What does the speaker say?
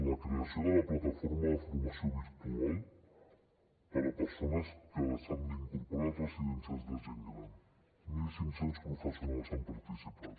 la creació de la plataforma de formació virtual per a persones que s’han d’incorporar a residències de gent gran mil cinc cents professionals hi han participat